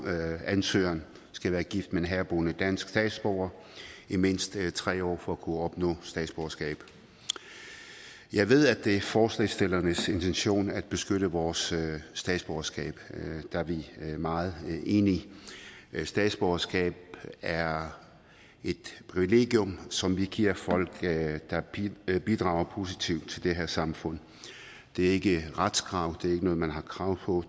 at ansøgeren skal være gift med en herboende dansk statsborger i mindst tre år for at kunne opnå statsborgerskab jeg ved at det er forslagsstillernes intention at beskytte vores statsborgerskab og der er vi meget enige statsborgerskab er et privilegium som vi giver folk der bidrager positivt til det her samfund det er ikke et retskrav det er ikke noget man har krav på